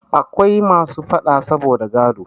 Akwai masu faɗa saboda gado.